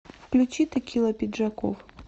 включи текила пиджаков